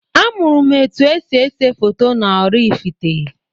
Amụrụm etu esi ese foto na-Oraifite.